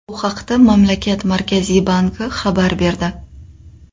Bu haqda mamlakat Markaziy banki xabar berdi .